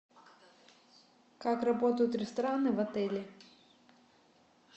как работают рестораны в отеле